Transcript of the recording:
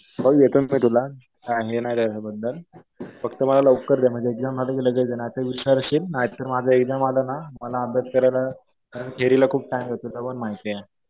मग देतोय मी तुला. काही हे नाही त्याच्या बद्दल. फक्त मला लवकर दे. म्हणजे एक्झाम झाली कि लगेच दे. नाहीतर विसरशील. नाहीतर माझं एक्झाम आलं ना मला अभ्यास करायला थेरीला खूप टाइम लागतो. तुला पण माहितीये.